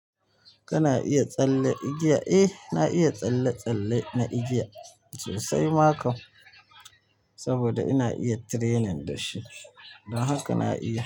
Kana iya tsalle igiya? Eh, na iya tsalle-tsalle na igiya sosai ma kam saboda ina iya training da shi don haka na iya.